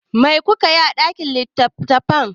Mai ka yi a ɗakin littattafai?